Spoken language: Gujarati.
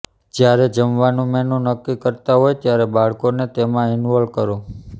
જ્યારે જમવાનું મેનુ નક્કી કરતા હોવ ત્યારે બાળકોને તેમાં ઇનોલ્વ કરો